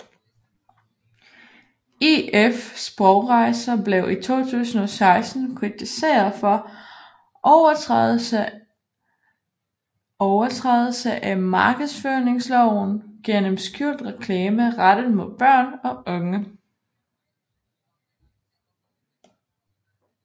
EF Sprogrejser blev i 2016 kritiseret for overtrædelse af markedsføringsloven gennem skjult reklame rettet mod børn og unge